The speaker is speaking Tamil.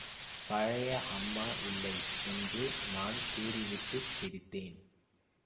பழைய அம்மா இல்லை என்று நான் கூறிவிட்டுச் சிரித்தேன்